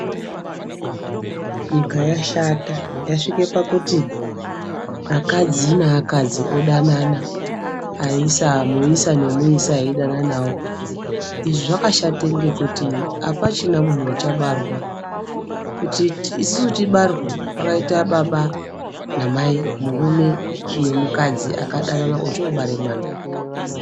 Nyika yashata yasvike pakuti akadzi neakadzi odanana, muisa nemuisa eidananawo. Izvi zvakashate ngekuti apachina munhu uchabarwa. Kuti isusu tibarwe, pakaita baba namai, murume nemukadzi akadanana ochoobare mwana.